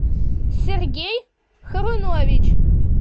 сергей харунович